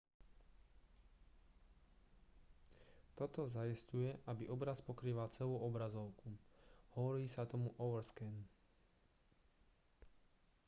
toto zaisťuje aby obraz pokrýval celú obrazovku hovorí sa tomu overscan